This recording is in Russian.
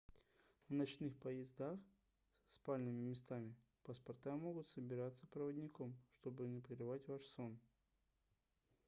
на ночных поездах со спальными местами паспорта могут собираться проводником чтобы не прерывать ваш сон